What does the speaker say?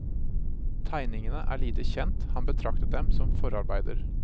Tegningene er lite kjent, han betraktet dem som forarbeider.